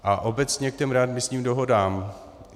A obecně k těm readmisním dohodám.